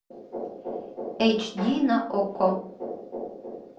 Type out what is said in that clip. эйч ди на окко